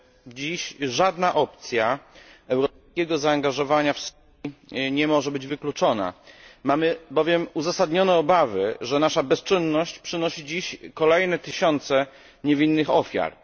Dziś żadna opcja europejskiego zaangażowania w Syrii nie może zostać wykluczona. Mamy bowiem uzasadnione obawy, że nasza bezczynność przynosi kolejne tysiące niewinnych ofiar.